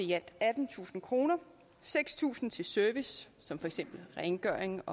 i alt attentusind kroner seks tusind kroner til service som for eksempel rengøring